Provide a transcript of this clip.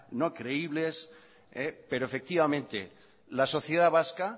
no creíbles pero efectivamente la sociedad vasca